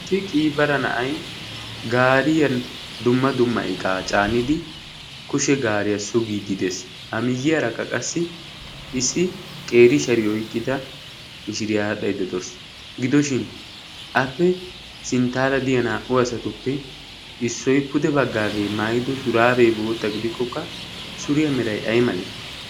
issi qiibara na'ay gaariya dumma dumma iqaa caanidi kushe gaariyaa sugiiddi dees ha miyyiyaarakka qassi issi qeeri shari oyqqida mishiriya adhaiddedoos gidoshin appe sinttaara diya naa''u asatuppe issoy pude baggaagee maayido shuraabee bootta ygidikkokka suriyaa meray ay malee